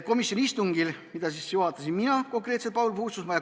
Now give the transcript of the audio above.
Seda istungit juhatasin mina, Paul Puustusmaa.